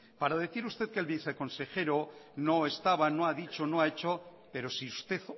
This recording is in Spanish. para decir usted que el viceconsejero no estaba no ha dicho no ha hecho pero si usted